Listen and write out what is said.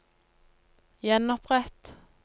gjenopprett